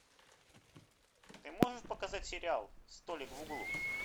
ты можешь показать сериал столик в углу